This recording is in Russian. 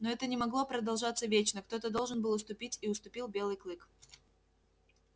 но это не могло продолжаться вечно кто то должен был уступить и уступил белый клык